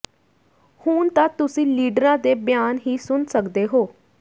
ਹੁਣ ਤਾਂ ਤੁਸੀ ਲੀਡਰਾਂ ਦੇ ਬਿਆਨ ਹੀ ਸੁਣ ਸਕਦੇ ਹੋ